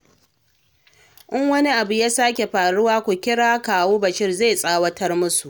In wani abu ya sake faruwa ku kira Kawu Bashir, zai tsawatar musu.